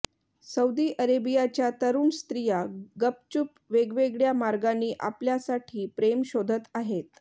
Saudi अरेबियाच्या तरूण स्त्रिया गपचूप वेगवेगळ्या मार्गांनी आपल्यासाठी प्रेम शोधत आहेत